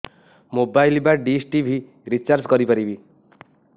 mobile ବା dish TV recharge କରି ପାରିବି